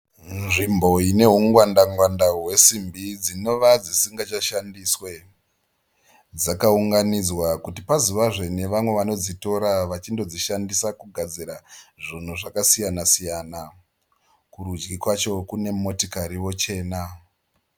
Nzvimbo inehungwanda ngwanda hwesimbi dzinova dzisingachashandiswe. Dzakaunganidzwa kuti pazovazve nevamwe vanodzitora vachindoshandisa kugadzira zvinhu zvakasiyana siyana. Kurudyi kwacho kune motokariwo chena.